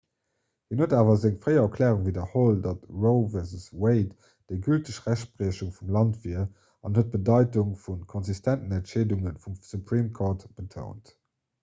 hien huet awer seng fréier erklärung widderholl datt roe v wade déi gülteg rechtspriechung vum land wier an huet d'bedeitung vu konsistenten entscheedunge vum supreme court betount